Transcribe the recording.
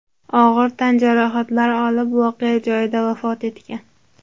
og‘ir tan jarohatlari olib, voqea joyida vafot etgan.